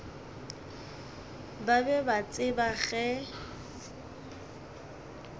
ba be ba tseba ge